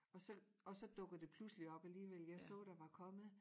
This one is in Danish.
Og så og så dukker det pludselig op alligevel jeg så der var kommet